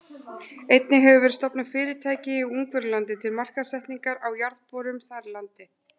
Einnig hefur verið stofnað fyrirtæki í Ungverjalandi til markaðssetningar á jarðborunum þar í landi.